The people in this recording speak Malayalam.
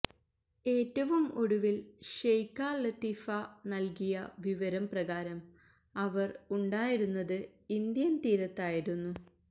ഏറ്റവും ഒടുവില് ഷെയ്ഖ ലത്തീഫ നല്കിയ വിവരം പ്രകാരം അവര് ഉണ്ടായിരുന്നത് ഇന്ത്യന് തീരത്ത് ആയിരുന്നു